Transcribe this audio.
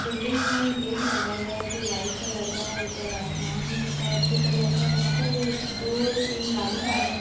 building में gate लगा हुआ है जो वाइट कलर का है ऊपर आसमान है स्काई ब्लू कलर का यहाँ पर दो तीन गाड़ी खड़ी हैं |